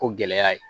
Ko gɛlɛya ye